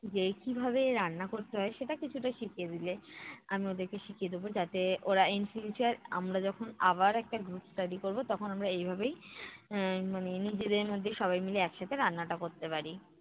যে কীভাবে রান্না করতে হয় সেটা কিছুটা শিখিয়ে দিলে, আমি ওদেরকে শিখিয়ে দেবো যাতে ওরা in future আমরা যখন আবার একটা group study করবো তখন আমরা এইভাবেই, আহ মানে নিজেদের মধ্যেই সবাই মিলে একসাথে রান্নাটা করতে পারি,